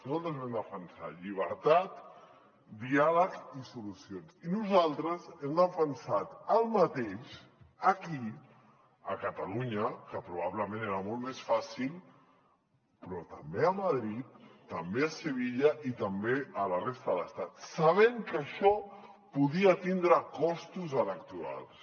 nosaltres vam defensar llibertat diàleg i solucions i nosaltres hem defensat el mateix aquí a catalunya que probablement era molt més fàcil però també a madrid també a sevilla i també a la resta de l’estat sabent que això podia tindre costos electorals